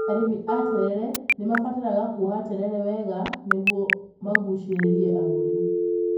Arĩmi a terere nĩ mabataraga kuoha terere wega nĩguo magucĩrĩrie agũri.